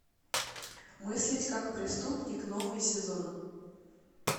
мыслить как преступник новый сезон